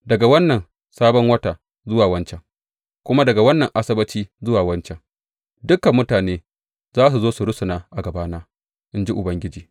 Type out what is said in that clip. Daga wannan sabon wata zuwa wancan, kuma daga wannan Asabbaci zuwa wancan, dukan mutane za su zo su rusuna a gabana, in ji Ubangiji.